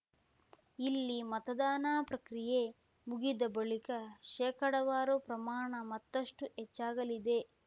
ಇಲ್ಲಿ ಮತದಾನ ಪ್ರಕ್ರಿಯೆ ಮುಗಿದ ಬಳಿಕ ಶೇಕಡಾವಾರು ಪ್ರಮಾಣ ಮತ್ತಷ್ಟುಹೆಚ್ಚಾಗಲಿದೆ